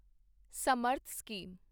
Samarth scheme